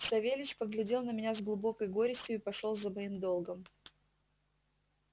савельич поглядел на меня с глубокой горестью и пошёл за моим долгом